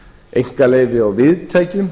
einkaleyfi á viðtækjum